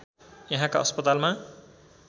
यहाँका अस्पतालमा